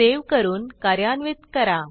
save करून कार्यान्वित करा